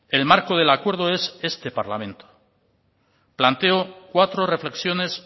el marco del acuerdo es este parlamento planteo cuatro reflexiones